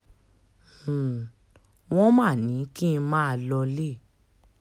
um wọ́n máa ní kí n máa lọọlẹ̀